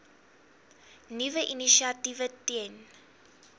nuwe initiatiewe ten